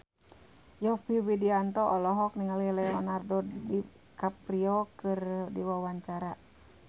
Yovie Widianto olohok ningali Leonardo DiCaprio keur diwawancara